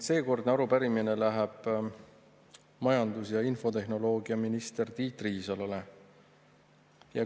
Seekordne arupärimine läheb majandus- ja infotehnoloogiaminister Tiit Riisalole.